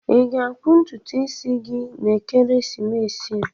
Ị ga-akpụ ntutu isi gi n'ekeresimesi a?